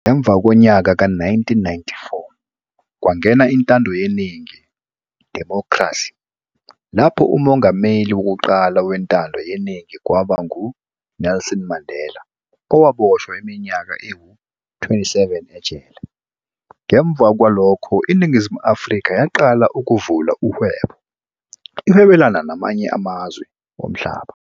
Ngemva konyaka ka 1994, kwangena intando yeningi, "democracy", lapho umongameli wokuqala wentando yeningi kwaba nguNelson Mandela owaboshwa iminyaka ewu-27 ejele. Ngemva kwalokho iNingizimu Afrika yaqala ukuvula uhwebo ihwebelana namanye amazwe omhlaba.